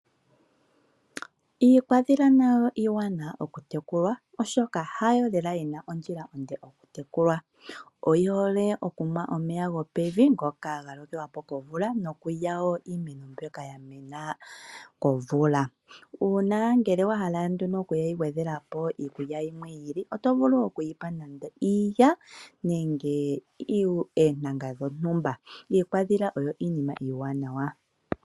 Iikwadhila oyo iiwanawa oku tekula oshoka oyihole okunwa omeya gopevi ngoka geyapo komvula nokulya iimeno mbyoka yamena komvula. Ngele owahala nee oku yi gwedhelapo iikulya yilwe yi ili otovulu okuyipa nande iilya nenge oontanga dhontumba. Iikwadhila oyo iinima iiwanawa.